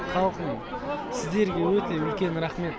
халқым сіздерге өте үлкен рақмет